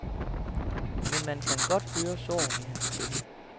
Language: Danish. Men man kan godt høre sorgen i hans stemme.